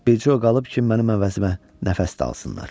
Bircə o qalıb ki, mənim əvəzimə nəfəs də alsınlar.